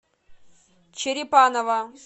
черепаново